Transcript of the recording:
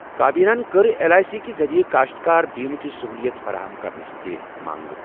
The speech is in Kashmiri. کابینہن کٔر ایل آٮٔی سی کہِ ذٔریعہٕ کٔاشتکار بیمہٕ چہِ سٔہوٗلِیت فراہم کرنٕچ تہِ منٛگ